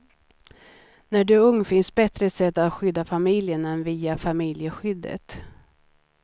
När du är ung finns bättre sätt att skydda familjen än via familjeskyddet.